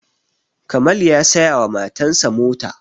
Kamal ya saya wa matan sa mota